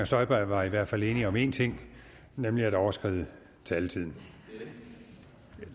støjberg var i hvert fald enige om én ting nemlig at overskride taletiden